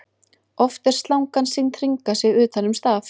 oft er slangan sýnd hringa sig utan um staf